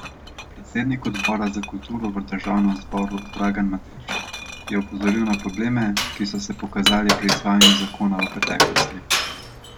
Predsednik odbora za kulturo v državnem zboru Dragan Matić je opozoril na probleme, ki so se pokazali pri izvajanju zakona v preteklosti.